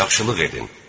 Yaxşılıq edin.